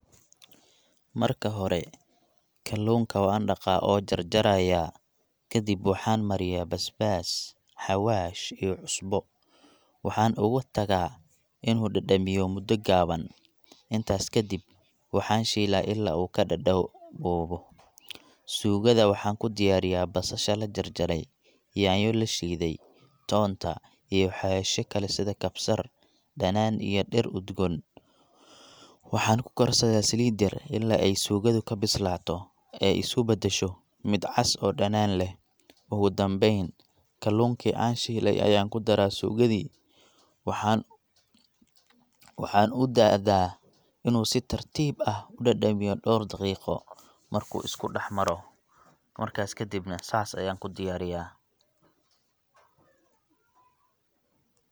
Marka hore kaluunka waan daqaa oo jarjaraaya, kadib waxaan mariyaa basbas, hawaash iyo cusbo, waxaan ugu tagaa inuu dadamiyo muda kooban, markaas kadib waxaan shiila ila uu, suugada waxaan kudiyaariya basasha lajarjaray, nyanya lashiide, toonta iyo hawashi kale sida kabsar caleen iyo dir udgoon, waxaan kukarsadaa saliid yar ilaa aay suugada kabislaato ee isku badasho mid cad oo macan leh, oogu danbeen kaluunki aan shiiley ayaan kudaraa suugadi, waxaan udaaya inuu si tartiib ah udadabiyo muda kooban, markuu isku dax maro, markaas kadibna saas ayaan kudiyaariya.